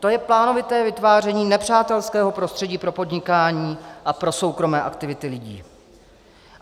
To je plánovité vytváření nepřátelského prostředí pro podnikání a pro soukromé aktivity lidí.